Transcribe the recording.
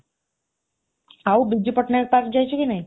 ଆଉ, ବିଜୁ ପଟ୍ଟନାୟକ ପାର୍କ ଯାଇଛୁ କି ନାହିଁ?